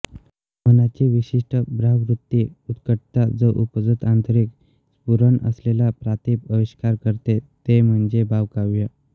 मनाची विशिष्ट भाववृत्ती उत्कटता जो उपजत आंतरिक स्फुरण असलेला प्रातिभ आविष्कार करते ते म्हणजे भावकाव्य